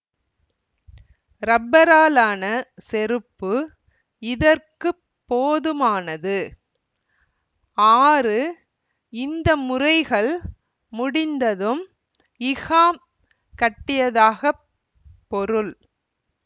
ரப்பராலான செருப்பு இதற்கு போதுமானது ஆறு இந்த முறைகள் முடிந்ததும் இஹ்ஹாம் கட்டியதாகப் பொருள்